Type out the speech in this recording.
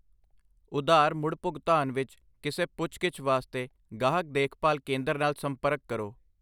ਉਧਾਰ ਮੁੜਭੁਗਤਾਨ ਵਿੱਚ ਕਿਸੇ ਪੁੱਛ ਗਿੱਛ ਵਾਸਤੇ ਗਾਹਕ ਦੇਖਭਾਲ ਕੇਂਦਰ ਨਾਲ ਸੰਪਰਕ ਕਰੋ